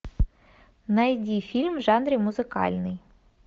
найди фильм в жанре музыкальный